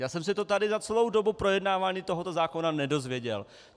Já jsem se to tady za celou dobu projednávání tohoto zákona nedozvěděl.